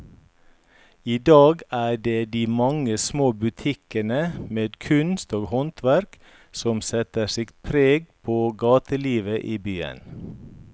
I dag er det de mange små butikkene med kunst og håndverk som setter sitt preg på gatelivet i byen.